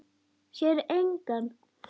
Sér engan.